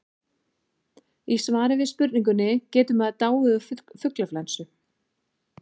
í svari við spurningunni getur maður dáið úr fuglaflensu